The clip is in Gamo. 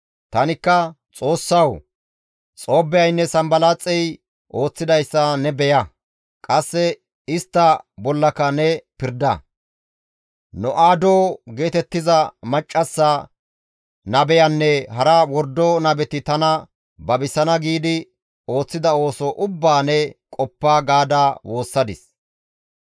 Tanikka, «Xoossawu! Xoobbiyaynne Sanbalaaxey ooththidayssa ne beya; qasse istta bollaka ne pirda; No7aado geetettiza maccassa nabeyanne hara wordo nabeti tana babisana giidi ooththida ooso ubbaa ne qoppa» gaada woossadis.